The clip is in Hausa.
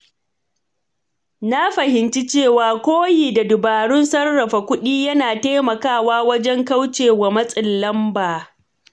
Na fahimci cewa koyi da dabarun sarrafa kuɗi yana taimakawa wajen kauce wa matsin lamba.